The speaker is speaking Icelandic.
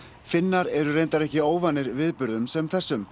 Finnar eru reyndar ekki óvanir viðburðum sem þessum